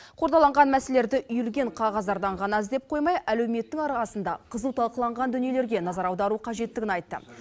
қордаланған мәселелерді үйілген қағаздардан ғана іздеп қоймай әлеуметтің арқасында қызу талқыланған дүниелерге назар аудару қажеттігін айтты